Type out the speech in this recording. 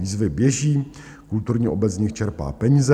Výzvy běží, kulturní obec z nich čerpá peníze.